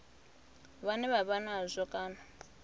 vhane vha vha nazwo kana